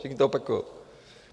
Všichni to opakujou.